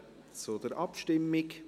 Wir kommen zur Abstimmung.